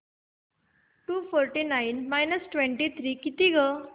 to forty nine minus twenty three किती गं